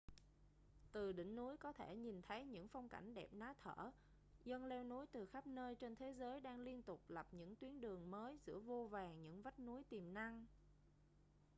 từ đỉnh núi có thể nhìn thấy những phong cảnh đẹp ná thở dân leo núi từ khắp nơi trên thế giới đang liên tục lập những tuyến đường mới giữa vô vàn những vách núi tiềm năng